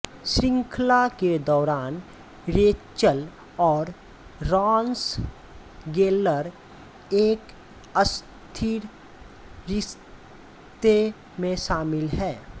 श्रृंखला के दौरान रेचल और रॉस गेल्लर एक अस्थिर रिश्ते में शामिल है